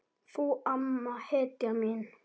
Þú amma, hetjan mín.